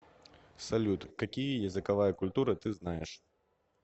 салют какие языковая культура ты знаешь